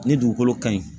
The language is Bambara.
Ni dugukolo ka ɲi